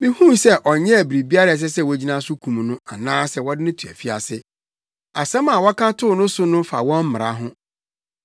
Mihui sɛ ɔnyɛɛ biribiara a ɛsɛ sɛ wogyina so kum no anaasɛ wɔde no to afiase. Asɛm a wɔka too ne so no fa wɔn mmara ho.